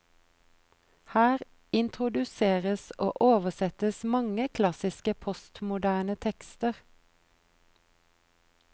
Her introduseres og oversettes mange klassiske postmoderne tekster.